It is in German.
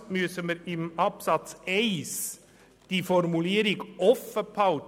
Ebenfalls müssen wir in Absatz 1 die Formulierung offen halten: